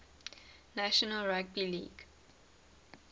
national rugby league